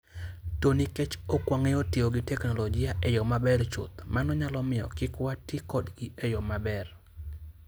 To nikech ok wang'eyo tiyo gi teknoloji e yo maber chuth, mano nyalo miyo kik wati kodgi e yo maber.